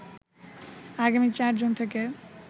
আগামী ৪ জুন থেকে